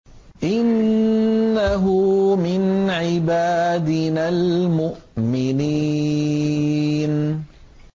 إِنَّهُ مِنْ عِبَادِنَا الْمُؤْمِنِينَ